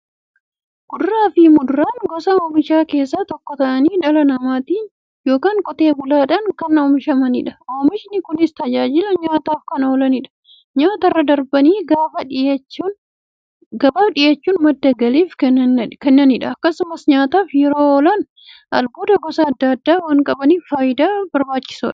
Kuduraafi muduraan gosa oomishaa keessaa tokko ta'anii, dhala namaatin yookiin Qotee bulaadhan kan oomishamaniidha. Oomishni Kunis, tajaajila nyaataf kan oolaniifi nyaatarra darbanii gabaaf dhiyaachuun madda galii kan kennaniidha. Akkasumas nyaataf yeroo oolan, albuuda gosa adda addaa waan qabaniif, fayyaaf barbaachisoodha.